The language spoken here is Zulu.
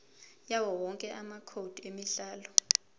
yawowonke amacode emidlalo